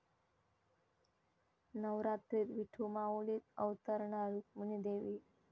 नवरात्रीत 'विठुमाऊली'त अवतरणार रुक्मिणी देवी